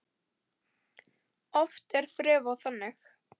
Oft er þref á þingi.